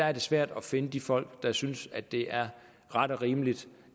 er svært at finde de folk der synes at det er ret og rimeligt